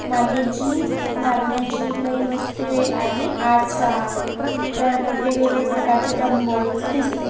मागे जिम मारण्याची लई वस्तूए आहेत आरसा तर वेगवेगळे प्रकारचे डंबेल्स दिसते.